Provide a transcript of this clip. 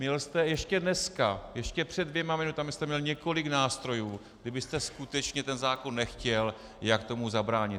Měl jste ještě dneska, ještě před dvěma minutami jste měl několik nástrojů, kdybyste skutečně ten zákon nechtěl, jak tomu zabránit.